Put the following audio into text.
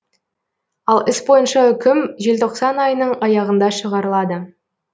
ал іс бойынша үкім желтоқсан айының аяғында шығарылады